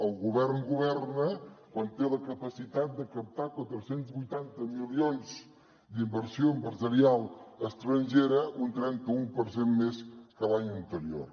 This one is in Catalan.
el govern governa quan té la capacitat de captar quatre cents i vuitanta milions d’inversió empresarial estrangera un trenta un per cent més que l’any anterior